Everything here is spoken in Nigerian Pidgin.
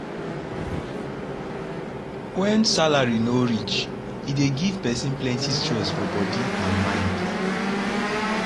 when salary no reach e dey give person plenty stress for body and mind.